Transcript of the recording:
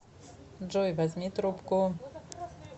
джой возьми трубку